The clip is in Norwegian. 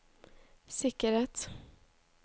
sikkerhet